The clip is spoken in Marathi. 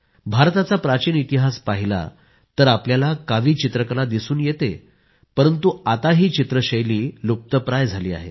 भारताचा प्राचीन इतिहास पाहिला तर आपल्याला कावी चित्रकला दिसून येते परंतु आता ही चित्रशैली लूप्तप्राय झाली आहे